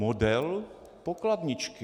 Model pokladničky.